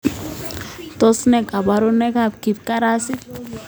Tos ne kaborunoikab kipkarasit